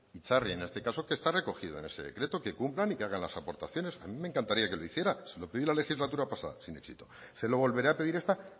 itzarri en este caso que está recogido en ese decreto que cumplan y que hagan las aportaciones a mí me encantaría que lo hiciera se lo pedí la legislatura pasada sin éxito se lo volveré a pedir esta